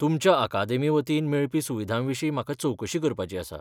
तुमच्या अकादेमी वतीन मेळपी सुविधांविशीं म्हाका चवकशी करपाची आसा.